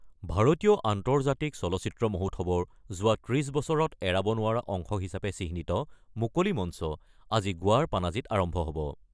ভাৰতীয় আন্তৰ্জাতিক চলচ্চিত্ৰ মহোৎসৱৰ যোৱা ৩০ বছৰত এৰাব নোৱাৰা অংশ হিচাপে চিহ্নিত মুকলি মঞ্চ আজি গোৱাৰ পানাজীত আৰম্ভ হ'ব।